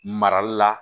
Marali la